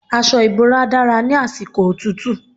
Aṣọ ìbora dára ní àsìkò òtútù.